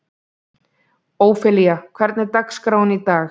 Ófelía, hvernig er dagskráin í dag?